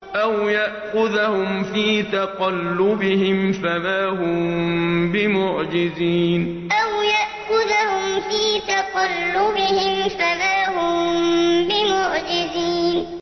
أَوْ يَأْخُذَهُمْ فِي تَقَلُّبِهِمْ فَمَا هُم بِمُعْجِزِينَ أَوْ يَأْخُذَهُمْ فِي تَقَلُّبِهِمْ فَمَا هُم بِمُعْجِزِينَ